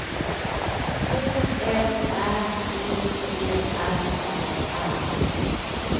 K L Ä T T R A R